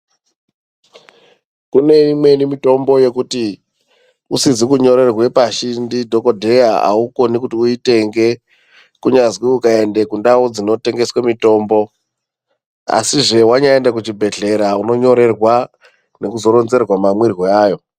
Kune imweni mitombo yekuti usizi kunyorerwe pashi ndidhokodheya, aukoni kuti uitenge kunyazwi ukaende kundau dzinotengeswe mitombo asizve wanyaende kuchibhedhlera unonyorerwa nekuzoronzerwa mamwiro ayo.